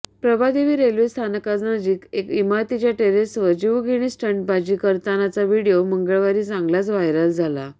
Prabhadevi railway स्थानकानजीक एका इमारतीच्या टेरेसवर जीवघेणी स्टंटबाजी करतानाचा व्हिडिओ मंगळवारी चांगलाच व्हायरल झाला